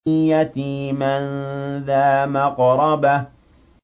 يَتِيمًا ذَا مَقْرَبَةٍ